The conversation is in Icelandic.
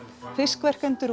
fiskverkendur og